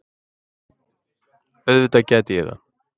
Auðvitað gæti ég það.